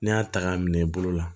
N'i y'a ta k'a minɛ i bolo la